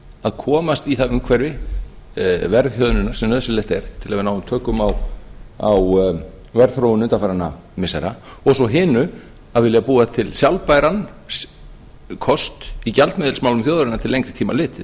að komast í það umhverfi verðhjöðnunar sem nauðsynlegt er til að ná tökum á verðþróun undanfarinna missira og svo hinu að vilja búa til sjálfbæran kost í gjaldmiðilsmálum þjóðarinnar til lengri tíma litið